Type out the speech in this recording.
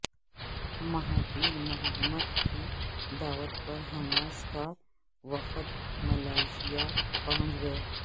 Mahathir Mohamad کی دعوت پر حماس کا وفد ملائیشیا پہنچ گیا